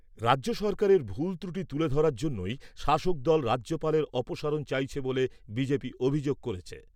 রাজ্য সরকারের ভুল ত্রুটি তুলে ধরার জন্যই শাসকদল রাজ্যপালের অপসারণ চাইছে বলে বিজেপি অভিযোগ করেছে।